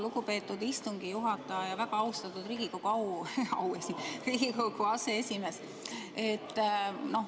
Lugupeetud istungi juhataja, väga austatud Riigikogu aseesimees!